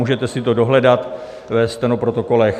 Můžete si to dohledat ve stenoprotokolech.